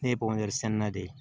Ne ye sɛnɛnna de ye